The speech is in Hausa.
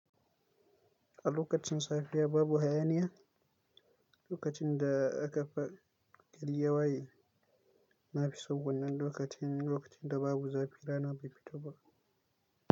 A lokacin safiya babu hayaniya, lokacin da aka fara gari ya waye. Na fi tsugunnan lokacin, lokacin da babu zafi rana bai fito ba.